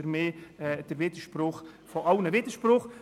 Für mich ist das der Widerspruch der Widersprüche.